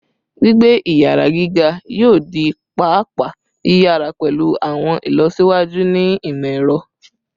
Gbigbe iyara giga yoo di paapaa yiyara pẹlu awọn ilọsiwaju ni imọ-ẹrọ